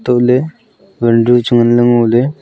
tohley vanru chu ngan ley ngo ley.